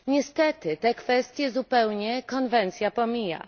Niestety, te kwestie zupełnie konwencja pomija.